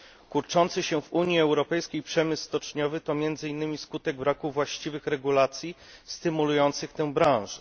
Kurczący się w Unii Europejskiej przemysł stoczniowy to między innymi skutek braku właściwych regulacji stymulujących tę branżę.